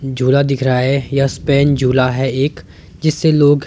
झूला दिख रहा है यह स्पेन झूला है एक जिससे लोग--